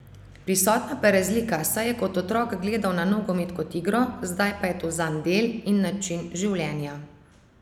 Prisotna pa je razlika, saj je kot otrok gledal na nogomet kot igro, zdaj pa je to zanj del in način življenja.